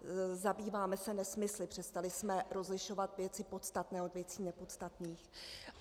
Zabýváme se nesmysly, přestali jsme rozlišovat věci podstatné od věcí nepodstatných.